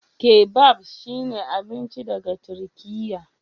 Kebab shine abinci daga Turkiyya.